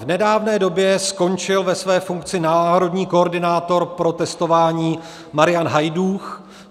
V nedávné době skončil ve své funkci národní koordinátor pro testování Marian Hajdúch.